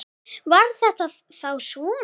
Var þetta þá svona?